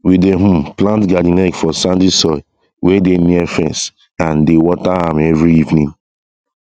we dey um plant garden egg for sandy soil wey dey near fence and dey water am every evening